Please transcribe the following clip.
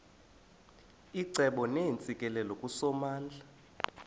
icebo neentsikelelo kusomandla